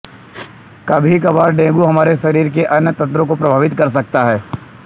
कभीकभार dengue हमारे शरीर के अन्य तंत्रों को प्रभावित कर सकता है